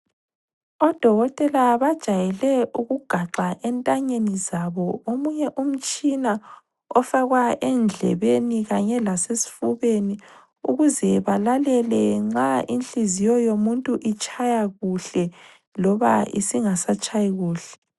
Odokotela bajayele ukugaxa entanyeni zabo omunye umtshina ofakwa endlebeni kanye lasesifubeni ukuze balalele nxa inhliziyo yomuntu itshaya kuhle loba isingasatshayi kuhle.